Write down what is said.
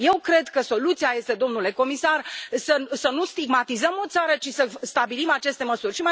Eu cred că soluția este, domnule comisar, să nu stigmatizăm o țară, ci să stabilim aceste măsuri.